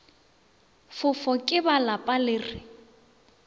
fofo ke ba lapa re